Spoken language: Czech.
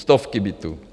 Stovky bytů.